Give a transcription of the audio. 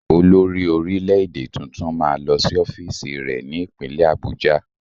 Olórí-orílẹ̀-èdè tuntun máa lọ sí ọ́fíìsì rẹ ní ìpínlẹ̀ Abuja.